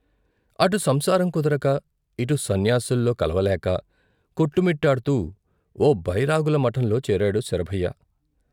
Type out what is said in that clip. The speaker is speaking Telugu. అటు సంసారం కుదరక, ఇటు సన్యాసుల్లో కలవలేక కొట్టుమిట్టాడుతూ ఓ బైరాగుల మఠంలో చేరాడు శరభయ్య.